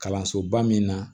Kalansoba min na